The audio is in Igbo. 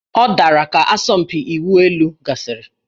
Ọ dara ka asọmpi ịwụ elu gasịrị